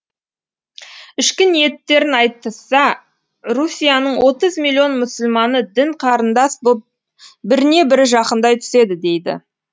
ішкі ниеттерін айтысса русияның отыз миллион мұсылманы дін қарындас боп біріне бірі жақындай түседі дейді